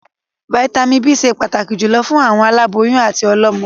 Vàìtamínií B ṣẹ pàtàkì jùlọ fún àwọn aláboyún àti ọlọ́mọ.